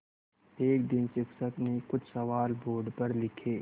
एक दिन शिक्षक ने कुछ सवाल बोर्ड पर लिखे